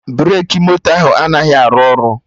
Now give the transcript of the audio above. Breki moto ahụ anaghị arụ ọrụ